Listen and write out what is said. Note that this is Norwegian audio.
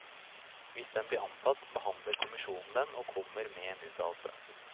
Hvis den blir antatt, behandler kommisjonen den og kommer med en uttalelse.